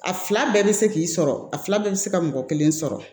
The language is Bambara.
A fila bɛɛ bɛ se k'i sɔrɔ a fila bɛɛ bɛ se ka mɔgɔ kelen sɔrɔ